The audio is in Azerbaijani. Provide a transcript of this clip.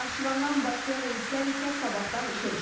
Naxçıvandan Bakıya reyslər isə sabahdan işə düşəcək.